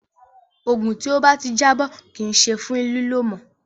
Òògùn tí ó bá ti jábọ́ kì í ṣe fún lílò mọ́.